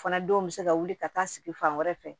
Fana denw bɛ se ka wuli ka taa sigi fan wɛrɛ fɛ